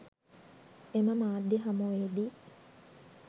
එම මාධ්‍ය හමුවේදී